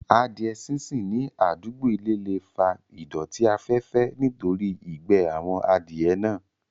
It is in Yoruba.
Adìẹ sínsìn ní àdúgbò ilé le fa ìdọ̀tí afẹ́fẹ́ nítorí ìgbẹ́ àwọn Adìẹ náà